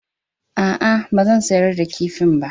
A'a, ba zan sayar da kifin ba